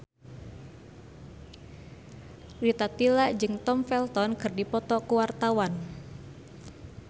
Rita Tila jeung Tom Felton keur dipoto ku wartawan